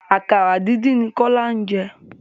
Àkàrà díndín ni Kọ́lá jẹ.